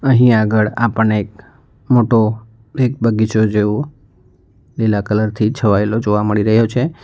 અહીં આગળ આપણને એક મોટો એક બગીચો જેવું લીલા કલર થી છવાયેલો જોવા મળી રહ્યો છે.